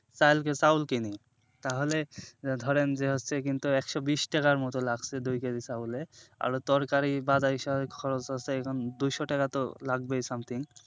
কালকে চাউল কিনি তাহলে ধরেন যে হচ্ছে কিন্তু একশো বিশ টাকার মতো লাগছে দুই KG চাউলে আরও তরকারি বাদে এই সবে খরচ আছে এখন দুইশো টাকাতো লাগবেই something